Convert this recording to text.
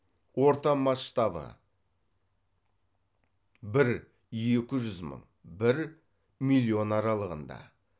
орта масштабы бір екі жүз мың бір миллион аралығында